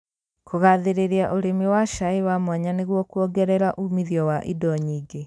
Kũgathĩrĩria ũrĩmi wa cai wa mwanya nĩguo kuongerera umithio wa indo nyingĩ